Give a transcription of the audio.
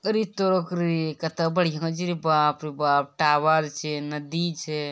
अरे तोरा के रे कते बढ़िया छै रे बाप रे बाप टावर छै नदी छै।